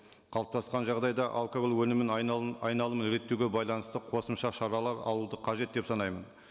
қалыптасқан жағдайда алкоголь өнімін айналым айналымын реттеуге байланысты қосымша шаралар алуды қажет деп санаймын